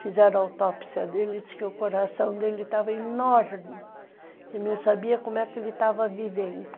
Fizeram a autópsia dele e ele disse que o coração dele estava enorme e não sabia como é que ele estava vivendo.